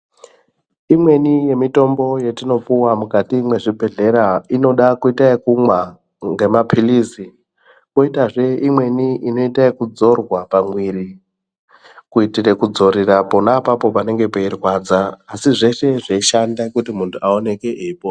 Imweni yemitombo yatinopuwa mukati mwezvibhedhlera inoda kuita ekumwa ngamapirizi koita zvee imweni inoita ekudzorwa pamwiri kuitire kuti kudzorera pona apapo panenge peirwadza asi zveshe zveishanda mundu aonekwe eipona .